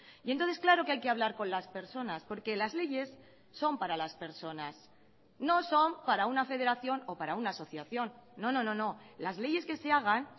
y entonces claro que hay que hablar con las personas porque las leyes son para las personas no son para una federación o para una asociación no no no no las leyes que se hagan